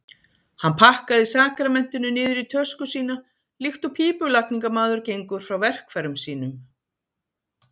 Hann pakkaði sakramentinu niður í tösku sína líkt og pípulagningamaður gengur frá verkfær- um sínum.